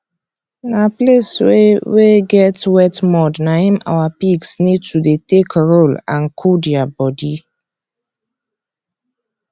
na place wey wey get wet mud na im our pigs need to take roll and cool dia body